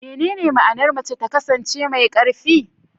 Menene ma'anar mace ta kasance mai ƙarfi?